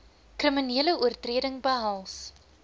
kriminele oortreding behels